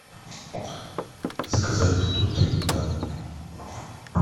заказать продукты на дом